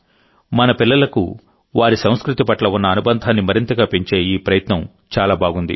మన పిల్లలకు వారి సంస్కృతి పట్ల ఉన్న అనుబంధాన్ని మరింతగా పెంచే ఈ ప్రయత్నం చాలా బాగుంది